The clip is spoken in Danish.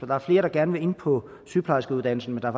der er flere der gerne vil ind på sygeplejerskeuddannelsen men der